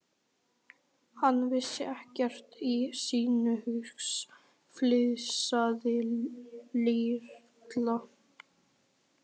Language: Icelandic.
Hann vissi ekkert í sinn haus, flissaði Lilla.